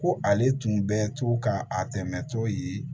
Ko ale tun bɛ to ka a dɛmɛ to yen